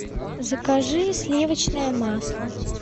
закажи сливочное масло